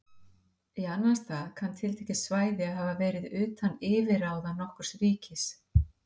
Í annan stað kann tiltekið svæði að hafa verið utan yfirráða nokkurs ríkis.